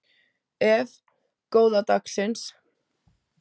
Ef. góða dagsins